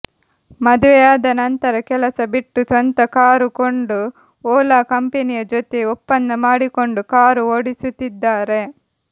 ಮದುವೆಯಾದ ನಂತರ ಕೆಲಸ ಬಿಟ್ಟು ಸ್ವಂತ ಕಾರು ಕೊಂಡು ಓಲಾ ಕಂಪೆನಿಯ ಜೊತೆ ಒಪ್ಪಂದ ಮಾಡಿಕೊಂಡು ಕಾರು ಓಡಿಸುತ್ತಿದ್ದಾರೆ